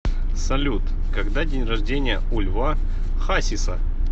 салют когда день рождения у льва хасиса